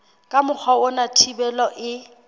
ka mokgwa ona thibelo e